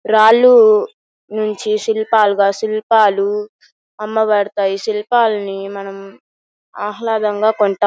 రాళ్ళూ నుంచి శిల్పాలుగా శిల్పాలు అమ్మబడతాయి శిల్పాలని మనం ఆహ్లాదంగా కొంటాం.